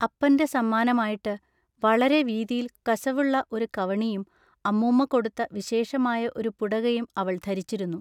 അപ്പന്റെ സമ്മാനമായിട്ടു വളരെ വീതിയിൽ കശവുള്ള ഒരു കവണിയും അമ്മുമ്മ കൊടുത്ത വിശേഷമായ ഒരു പുടകയും അവൾ ധരിച്ചിരുന്നു.